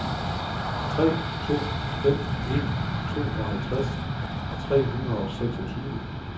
tre to fem en treoghalvtreds otte hundrede og seksogtyve